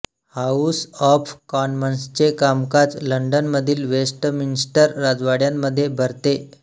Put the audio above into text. house of कॉमन्सचे कामकाज लंडनमधील वेस्टमिन्स्टर राजवाड्यामध्ये भरते